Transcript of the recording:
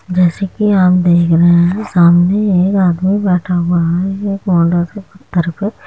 जैसा कि आप देख रहे है सामने एक आदमी बैठा हुआ है ये कार्नर के पत्थर पे --